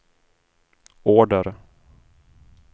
order